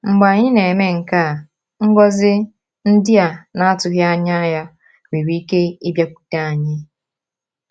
Mgbe anyị na-eme nke a, ngọzi ndị a na-atụghị anya ya nwere ike ịbịakwute anyị.